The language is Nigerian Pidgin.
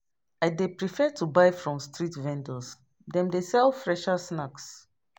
I dey prefer to buy from street vendors, dem dey sell fresher snacks.